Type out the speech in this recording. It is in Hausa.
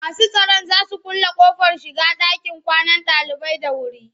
Masu tsaron za su kulle ƙofar shiga ɗakin kwanan ɗalibai da wuri.